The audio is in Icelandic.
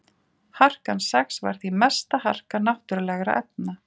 harkan sex var því mesta harka náttúrulegra efna